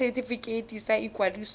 ya setefikeiti sa ikwadiso ya